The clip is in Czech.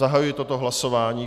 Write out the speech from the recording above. Zahajuji toto hlasování.